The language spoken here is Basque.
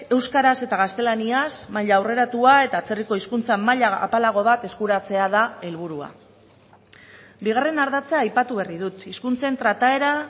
euskaraz eta gaztelaniaz maila aurreratua eta atzerriko hizkuntza maila apalago bat eskuratzea da helburua bigarren ardatza aipatu berri dut hizkuntzen trataera